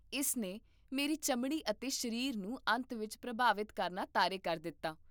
ਇਸ ਨੇ ਮੇਰੀ ਚਮੜੀ ਅਤੇ ਸਰੀਰ ਨੂੰ ਅੰਤ ਵਿੱਚ ਪ੍ਰਭਾਵਿਤ ਕਰਨਾ ਤਾਰੇ ਕਰ ਦਿੱਤਾ